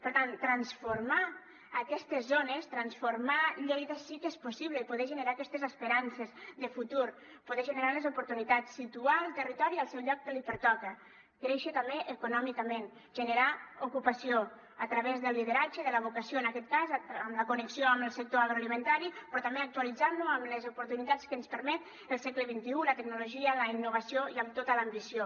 per tant transformar aquestes zones transformar lleida sí que és possible poder generar aquestes esperances de futur poder generar les oportunitats situar el territori al seu lloc que li pertoca créixer també econòmicament generar ocupació a través del lideratge i de la vocació en aquest cas amb la connexió amb el sector agroalimentari però també actualitzant lo amb les oportunitats que ens permet el segle xxi la tecnologia la innovació i amb tota l’ambició